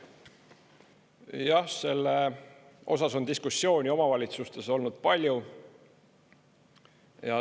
Jah, selle osas on diskussiooni omavalitsustes olnud palju.